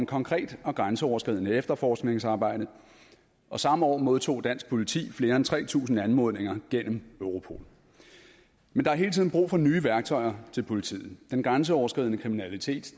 konkret og grænseoverskridende efterforskningsarbejde og samme år modtog dansk politi flere end tre tusind anmodninger gennem europol men der er hele tiden brug for nye værktøjer til politiet den grænseoverskridende kriminalitet